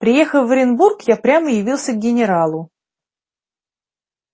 приехав в оренбург я прямо явился к генералу